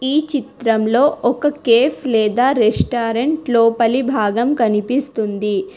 ఈ చిత్రంలో ఒక కేఫ్ లేదా రెస్టారెంట్ లోపలి భాగం కనిపిస్తుంది.